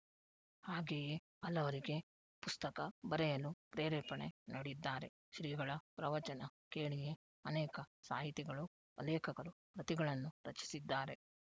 ಹಾಗೆಯೇ ಹಲವರಿಗೆ ಪುಸ್ತಕ ಬರೆಯಲು ಪ್ರೇರೇಪಣೆ ನೀಡಿದ್ದಾರೆ ಶ್ರೀಗಳ ಪ್ರವಚನ ಕೇಳಿಯೆ ಅನೇಕ ಸಾಹಿತಿಗಳು ಲೇಖಕರು ಕೃತಿಗಳನ್ನು ರಚಿಸಿದ್ದಾರೆ